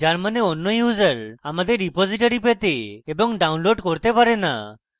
যার means অন্য user আমাদের repository পেতে এবং download করতে পারে না